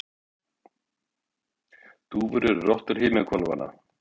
dúfur eru rottur himinhvolfanna